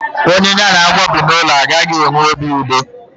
Onye ya na agwọ bi n'ụlọ a naghị enwe obi udo.